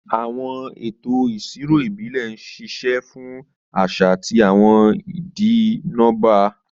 Àwọn ètò ìṣirò ìbílẹ̀ ń ṣiṣẹ́ fún àṣà àti àwọn ìdí nọ́bà.